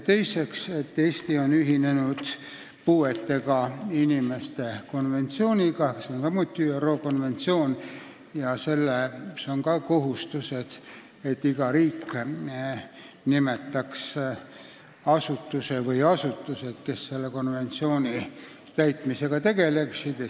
Teiseks, Eesti on ühinenud ÜRO puuetega inimeste õiguste konventsiooniga, kus on ka selline kohustus, et iga riik peab nimetama asutuse või asutused, kes selle konventsiooni täitmisega tegeleksid.